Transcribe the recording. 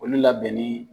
Olu labɛnni